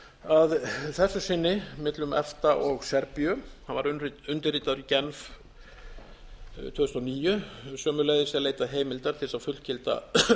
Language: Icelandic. að þessu sinni millum efta og serbíu hann var undirritaður í genf tvö þúsund og níu sömuleiðis að leita heimildar til þess að fullgilda